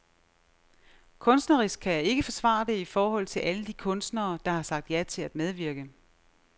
Kunstnerisk kan jeg ikke forsvare det i forhold til alle de kunstnere, der har sagt ja til at medvirke.